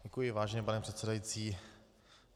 Děkuji, vážený pane předsedající.